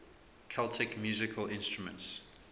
celtic musical instruments